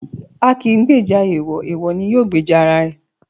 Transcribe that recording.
A kì í gbèjà èèwọ̀, èèwọ̀ ni yóò gbèjà ara ẹ̀.